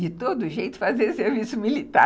de todo jeito, fazer serviço militar.